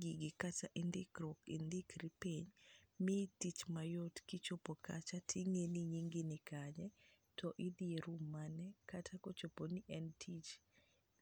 gigi kata indikruok indikri piny, miyi tich mayot kichopo kata ting'i ni nyingi nikanye, to idhi e room mane, kata kochopo ni en tich,